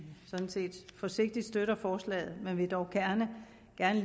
sådan set forsigtigt støtter forslaget men at vi dog gerne